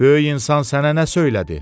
Böyük insan sənə nə söylədi?